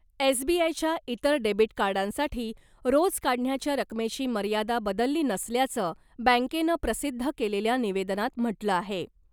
S B आयच्या इतर debit कार्डांसाठी रोज काढण्याच्या रकमेची मर्यादा बदलली नसल्याचं बँकेनं प्रसिद्ध केलेल्या निवेदनात म्हटलं आहे .